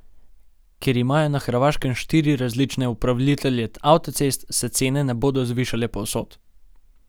Ker imajo na Hrvaškem štiri različne upravitelje avtocest, se cene ne bodo zvišale povsod.